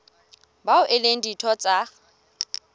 bao e leng ditho tsa